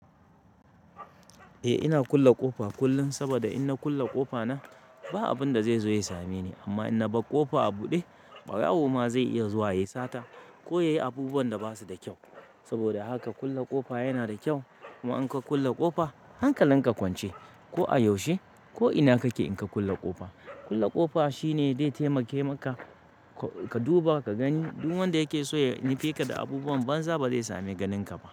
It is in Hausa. Eh ina kulle ƙofa kullum saboda in na kulle ƙofa na ba abinda zai zo ya same ni amma in na bar ƙofa a buɗe ɓarawo ma zai iya zuwa ya yi sata ko ya yi abubuwan da basu da kyau. Saboda haka kulle ƙofa yana da kyau kuma in ka kulle ƙofa hankalin ka kwance ko a yaushe ko ina kake in ka kulle ƙofa. Kulle ƙofa shine zai taimake maka ka duba ka gani duk wanda yake so ya nufe ka da abubuwan banza bazai sami ganin ka ba.